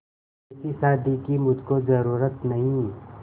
ऐसी शादी की मुझको जरूरत नहीं